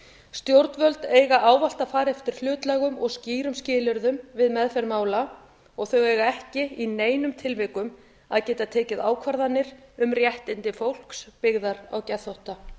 stjórnvöld eiga ávallt að fara eftir hlutlægum og skýrum skilyrðum við meðferð mála og þau eiga ekki í neinum tilvikum að geta tekið ákvarðanir um réttindi fólks byggðar á geðþótta